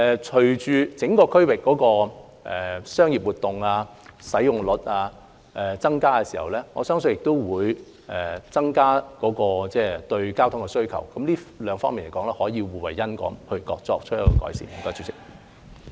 隨着整個區域的商業活動及使用率增加，我相信也會增加對交通的需求，這兩方面可以互惠互利，從而改善情況。